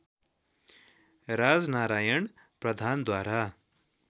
राजनारायण प्रधानद्वारा